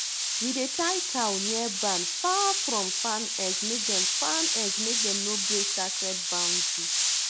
we dey tie cow near barn far from farm edgemake dem farm edgemake dem no break sacred boundary